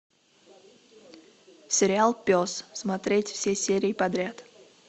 сериал пес смотреть все серии подряд